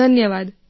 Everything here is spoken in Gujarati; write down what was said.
ધન્યવાદ